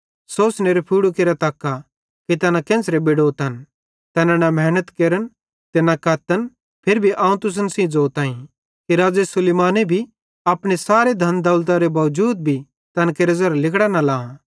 सोसनेरे फुड़ू केरे तक्का कि तैना केन्च़रे बेडोतन तैना न मेहनत केरन ते न कत्तन फिरी भी अवं तुसन सेइं ज़ोताईं कि राज़ो सुलैमाने भी अपने सारे धन दौलतरे बावजूद भी तैन केरां ज़ेरां लिगड़ा न लां